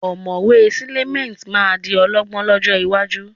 Ọ̀mọ̀wé Clement máa di ọ̀jọ̀gbọ́n lọ́jọ́ iwájú